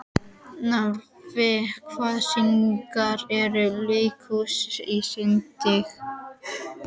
Narfi, hvaða sýningar eru í leikhúsinu á sunnudaginn?